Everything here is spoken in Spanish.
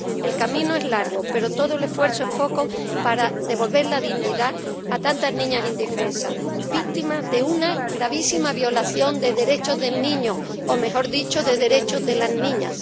El camino es largo, pero todo el esfuerzo es poco para devolver la dignidad a tantas niñas indefensas, víctimas de una gravísima violación de los derechos del niño, o mejor dicho, de los derechos de las niñas.